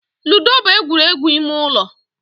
Ludo bụ egwuregwu ime ụlọ